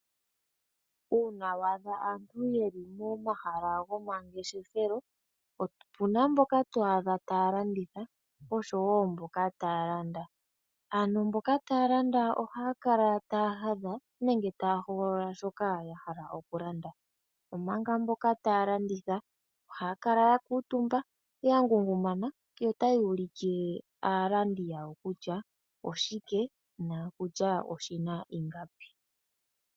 Uuna wa adha aantu yeli momahala gomangeshefelo, opuna mboka to adha taya landitha oshowo mboka taya landa. Ano mboka taya landa ohaya kala taya hadha nenge taya hogolola shoka ya hala oku landa, omanga mboka taya landitha, ohaya kala ya kuutumba, ya ngungumana, yo otaya ulikile aalandi yawo kutya oshike noshina ingapi.